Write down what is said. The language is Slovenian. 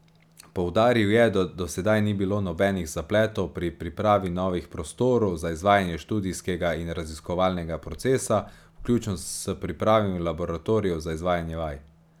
Poudaril je, da do sedaj ni bilo nobenih zapletov pri pripravi novih prostorov za izvajanje študijskega in raziskovalnega procesa, vključno s pripravami laboratorijev za izvajanje vaj.